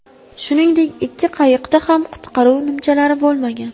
Shuningdek, ikki qayiqda ham qutqaruv nimchalari bo‘lmagan.